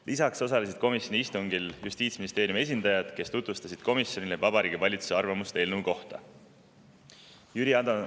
Lisaks osalesid komisjoni istungil Justiitsministeeriumi esindajad, kes tutvustasid komisjonile Vabariigi Valitsuse arvamust eelnõu kohta.